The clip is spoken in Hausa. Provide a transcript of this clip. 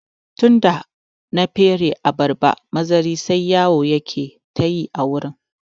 Tunda na fere abarba mazari sai yawo yake ta yi a wurin